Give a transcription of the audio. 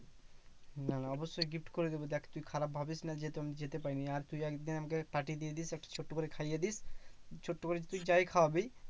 না না অবশ্যই gift করে দেব দেখ তুই খারাপ ভাবিস না যে আমি যেতে পারিনি। আর তুই একদিন আমাকে party দিয়ে দিস একটা ছোট্ট করে খাইয়ে দিস। ছোট্ট করে তুই যাই খাওয়াবি